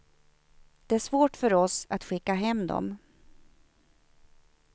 Det är svårt för oss att skicka hem dem.